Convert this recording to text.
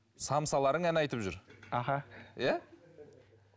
самсаларың ән айтып жүр аха иә